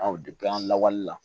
an lawaleli la